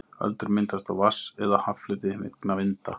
Öldur myndast á vatns- eða haffleti vegna vinda.